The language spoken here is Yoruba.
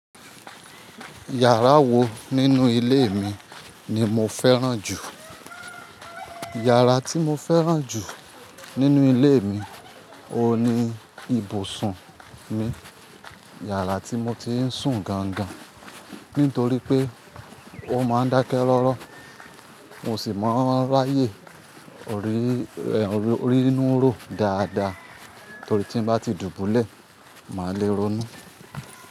Yàrá wo nínú ilé mi ni mo fẹ́ràn jù? Yàrá tí mo fẹ́ràn jù nínú ilé mi ò ní ibùsùn mi, yàrá tí mo ti ń sùn gan gan. Nítorí pé ó máa ń dákẹ́ rọ́rọ́, mo sì máa ń ráyè rínú ró dáadáa torí tí ń bá ti dùbúlẹ̀, màá le ronú.